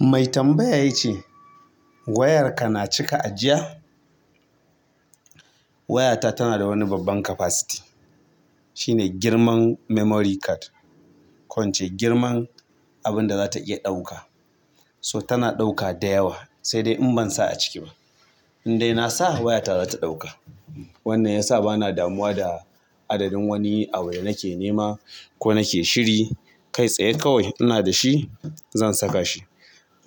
Mai tambaya ya ce wayarka na cika ajiya? Wayata tana da wani babban capacity. Shi ne girman memory card. Ko in ce girman abun da za ta iya ɗauka. So tana ɗauka da yawa sai dai in bansa a ciki ba. Indai na sa wayata za ta ɗauka. Wannan ya sa ba na damuwa da adadin wani abu da nake nema ko nake shiri. Kai tsaye kawai ina da shi, zan saka shi.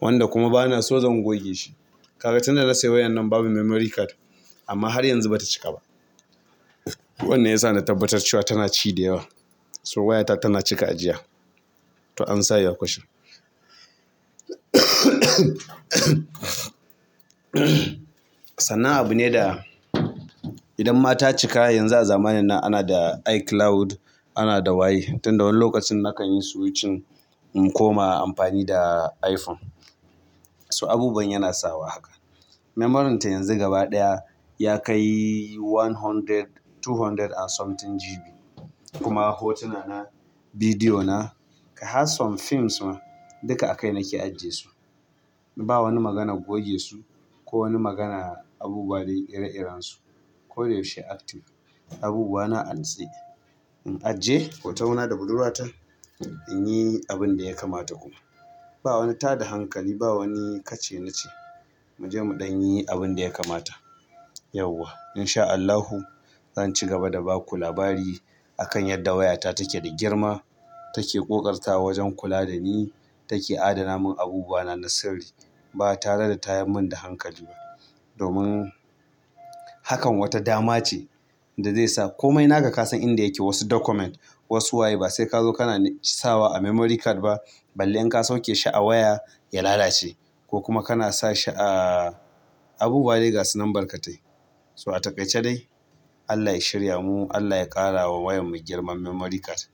Wanda kuma bana so zan goge shi. Kaga tunda na sayi wayar nan babu memory card amma har yanzu ba ta cika ba. Wannan ya sa na tabbatar cewa tana ci da yawa. So wayata tana cika ajiya. To an sa ya question. Sannan abu ne da idan ma ta cika yanzu a zamanin nan ana da iCloud, ana da waye. Tun da wani lokacin nakan yi switching in koma amfani da iPhone. So abubuwan yana sawa haka. Memory'n ta yanzu gaba ɗaya ya kai one hundred, two hundred and something GB. Kuma hotuna na, bidiyo na, kai har some films ma duka a kai nake ajiye su. Ba wani maganar goge su ko wani magana abubuwa dai ire-iren su. Ko da yaushe active. Abubuwa na a natse. In ajiye hot na da budurwata in yi abin da ya kamata kuma. Ba wani tada hankali, ba wani ka ce na ce. Mu je muɗan yi abin da ya kamata. Yauwa. Inshaa Allah zan ci gaba da baku labari akan yadda wayata take da girma take ƙoƙartawa wajen kula dani take adana mun abubuwana na sirri ba tare da tayar mun da hankali ba. Domin hakan wata dama ce da zai sa. Komai naka ka san inda yake. Wasu document, wasu waye ba sai ka zo kana sawa a memory card ba. Balle in ka sauke shi a waya ya lalace. Ko kuma kana sa shi a abubuwa dai gasu nan barkatai. To a takaice dai Allah ya shirya mu, Allah ya ƙara wa wayanmu girman memory card.